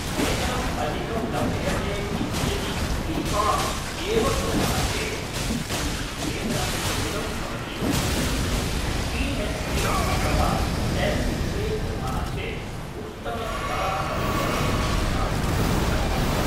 वेतनम् अधिकं लभ्यते इति यदि बि. कोम्. एव कुर्मः चेत् किञ्चित् वेतनं न्यूनम् भवति किन्तु पि.एच्. डि अथवा एम्. बि. ए. कुर्मः चेत् उत्तमस्तरः अपि भवति इति तादृशचिन्तनम् अस्ति